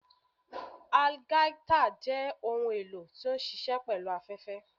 Algaita jẹ ohún elò ti o nṣiṣẹ pẹlu afẹfẹ.